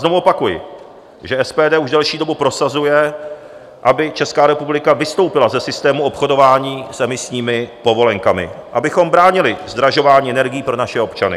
Znovu opakuji, že SPD už delší dobu prosazuje, aby Česká republika vystoupila ze systému obchodování s emisními povolenkami, abychom bránili zdražování energií pro naše občany.